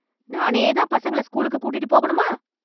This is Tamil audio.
நானே தான் பசங்கள ஸ்கூலுக்கு கூட்டிட்டு போகணுமா?